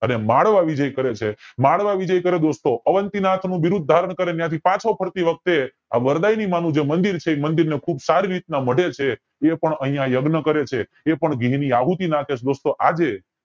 અને માળવા વિજય કરે છે માળવા વિજય કરે દોસ્તો અવંતીનાથ નું બિરુદ ધારણ કરે ને ત્યાં થી પાછો ફરતી વખતે આ વરદાયીમાનું જર મંદિર છે એ મંદિરને ખુબ સારી રીતે મઢે છે એ પણ અયા યજ્ઞ કરે છે એ પણ ઘી ની આહુતિ નાખે છે દોસ્તો આજે